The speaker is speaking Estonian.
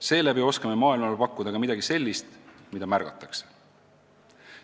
Seeläbi oskame maailmale pakkuda ka midagi sellist, mida märgatakse.